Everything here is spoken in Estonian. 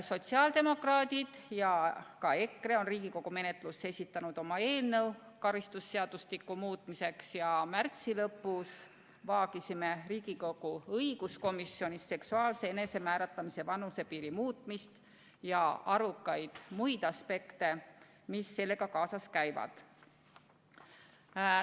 Sotsiaaldemokraadid ja ka EKRE on Riigikogu menetlusse esitanud oma eelnõu karistusseadustiku muutmiseks ja märtsi lõpus vaagisime Riigikogu õiguskomisjonis seksuaalse enesemääramise vanusepiiri muutmist ja muid arukaid aspekte, mis sellega kaasas käivad.